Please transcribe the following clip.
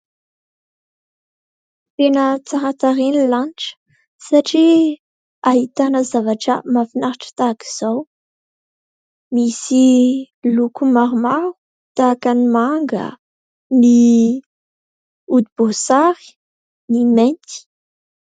Tena tsara tarehy ilay lanitra, satria ahitana zavatra mahafinaritra tahak'izao, misy loko maromaro tahaka ny manga, ny hodiboasary, ny mainty.